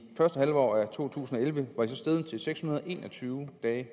første halvår to tusind og elleve var den så steget til seks hundrede og en og tyve dage